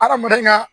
Adamaden ka